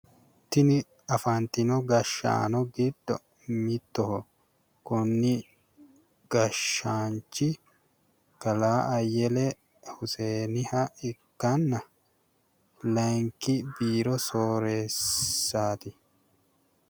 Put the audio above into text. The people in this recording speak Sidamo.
Tini afantino gashshaano giddo mittoho. Konni gashshaanchi kalaa ayyele huseeniha ikkanna layinki biiro soreessaati.